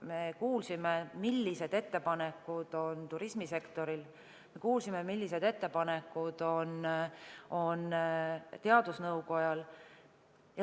Me kuulsime, millised ettepanekud on turismisektoril, ja me kuulsime, millised ettepanekud on teadusnõukojal.